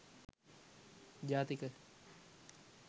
jathika